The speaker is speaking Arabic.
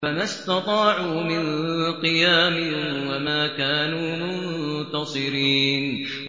فَمَا اسْتَطَاعُوا مِن قِيَامٍ وَمَا كَانُوا مُنتَصِرِينَ